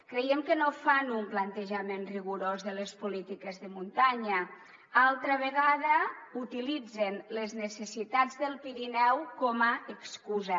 creiem que no fan un plantejament rigorós de les polítiques de muntanya altra vegada utilitzen les necessitats del pirineu com a excusa